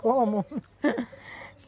Como?